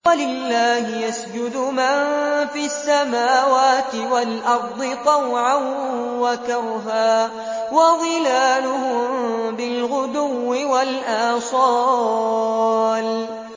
وَلِلَّهِ يَسْجُدُ مَن فِي السَّمَاوَاتِ وَالْأَرْضِ طَوْعًا وَكَرْهًا وَظِلَالُهُم بِالْغُدُوِّ وَالْآصَالِ ۩